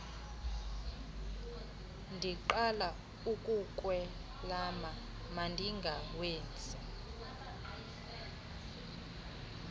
ndiqala ukukwelama mandingawenzi